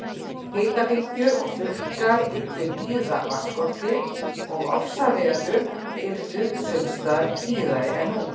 Hitabylgjur og þurrkar yllu víða vatnsskorti og ofsaveður yrðu sums staðar tíðari en nú.